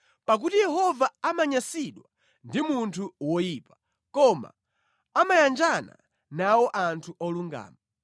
Pakuti Yehova amanyansidwa ndi munthu woyipa koma amayanjana nawo anthu olungama.